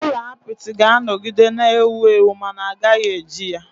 Ụlọ apịtị ga-anọgide na-ewu ewu ma a gaghị eji ya.